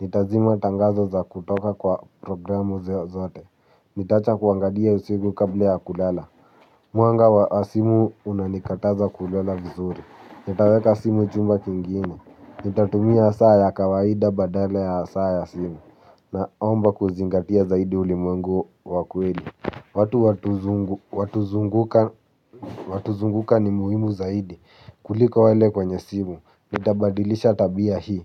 Nitazima tangazo za kutoka kwa programu zeo zote. Nitaacha kuangalia usiku kabla ya kulala. Mwanga wa simu unanikataza kulola vizuri. Nitaweka simu chumba kingine. Nitatumia saa ya kawaida badala ya saa ya simu. Naomba kuzingatia zaidi ulimwengu wa kweli. Watu watuzunguka ni muhimu zaidi kuliko wale kwenye simu. Nitabadilisha tabia hii.